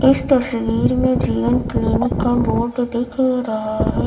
इस तस्वीर में जीवन क्लिनिक का बोड दिख रहा है।